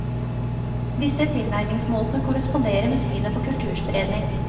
Disse tilnærmingsmåtene korresponderer med synet på kulturspredning.